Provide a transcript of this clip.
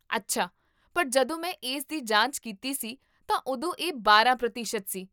ਅੱਛਾ, ਪਰ ਜਦੋਂ ਮੈਂ ਇਸ ਦੀ ਜਾਂਚ ਕੀਤੀ ਸੀ ਤਾਂ ਉਦੋਂ ਇਹ ਬਾਰਾਂ ਪ੍ਰਤੀਸ਼ਤ ਸੀ